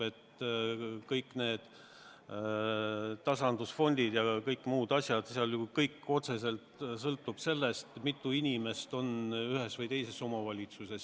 Kõik need tasandusfondid ja kõik muud asjad – kõik otseselt ju sõltub sellest, mitu inimest on ühes või teises omavalitsuses.